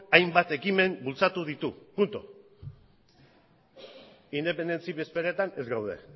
hainbat ekimen bultzatu ditu puntu independentzi bezperetan ez gaude